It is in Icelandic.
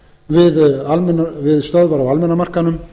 við stöðvar á almenna markaðnum